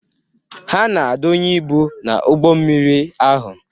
Ha na-adonye ibu n'ụgbọ mmiri ahụ.